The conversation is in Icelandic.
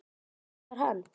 Hvernig var hann?